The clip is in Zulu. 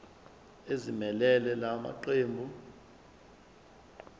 ezimelele la maqembu